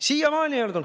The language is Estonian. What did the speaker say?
Siiamaani ei olnud.